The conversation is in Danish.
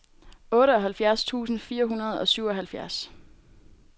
otteoghalvtreds tusind fire hundrede og syvoghalvfjerds